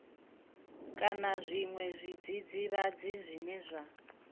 kana zwiṅwe zwidzidzivhadzi zwine zwa